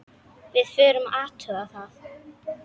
Við vorum að athuga það.